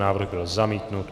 Návrh byl zamítnut.